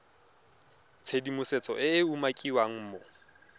tshedimosetso e e umakiwang mo